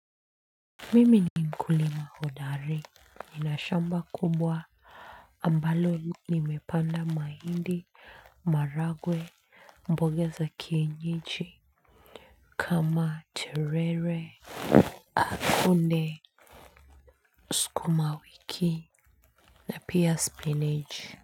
Mimi ni mkulima hodari, ninashamba kubwa ambalo nimepanda mahindi maragwe mboga za kienyeji. Kama terere akunde sukuma wiki na pia spinach.